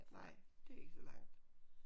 Nej det er ikke så langt